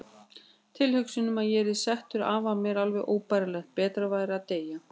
Tilhugsunin um að ég yrði settur af var mér alveg óbærileg, betra væri að deyja.